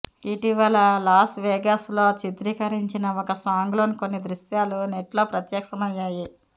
ఇటీవల Las Vegas లో చిత్రీకరించిన ఒక సాంగ్ లోని కొన్ని దృశ్యాలు నెట్లో ప్రత్యక్షమయ్యాయి